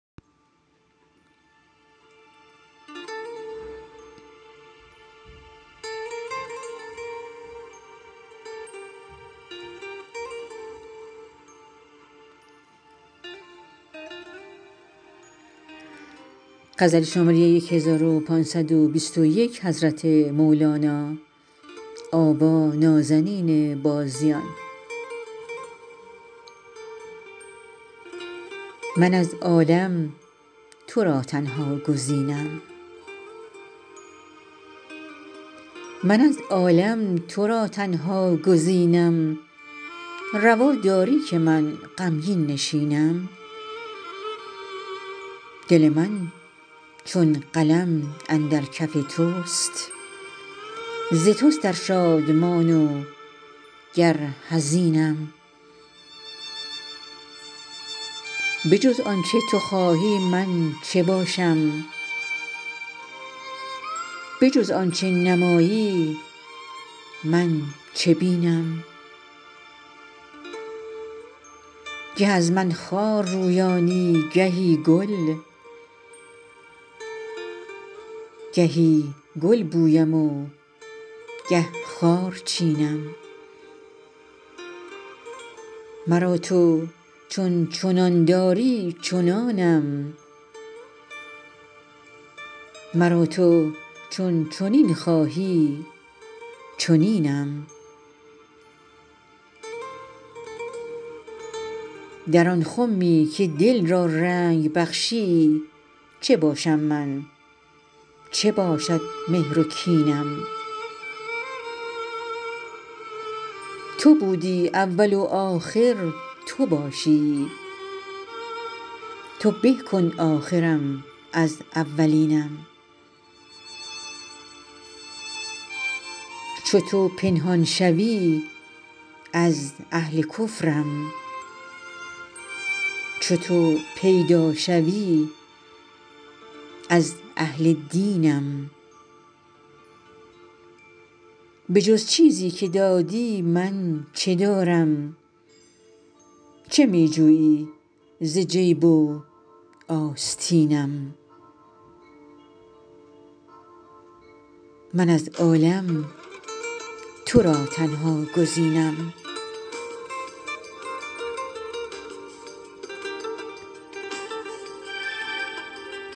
من از عالم تو را تنها گزینم روا داری که من غمگین نشینم دل من چون قلم اندر کف توست ز توست ار شادمان و گر حزینم به جز آنچه تو خواهی من چه باشم به جز آنچه نمایی من چه بینم گه از من خار رویانی گهی گل گهی گل بویم و گه خار چینم مرا تو چون چنان داری چنانم مرا تو چون چنین خواهی چنینم در آن خمی که دل را رنگ بخشی چه باشم من چه باشد مهر و کینم تو بودی اول و آخر تو باشی تو به کن آخرم از اولینم چو تو پنهان شوی از اهل کفرم چو تو پیدا شوی از اهل دینم به جز چیزی که دادی من چه دارم چه می جویی ز جیب و آستینم